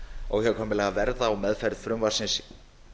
óhjákvæmilega verða á meðferð frumvarpsins